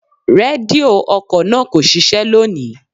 Rédíò ọkọ̀ náà kò ṣiṣẹ́ lónìí.